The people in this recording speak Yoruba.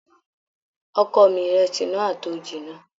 Ọkọ mi, ìrẹsì náà á tó jiná.